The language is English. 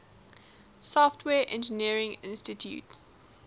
software engineering institute